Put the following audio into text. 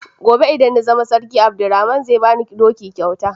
Gobe idan na zama sarki Abdurrahman zai bani doki kyauta.